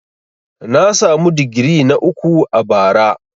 Na samu digiri na uku a bara.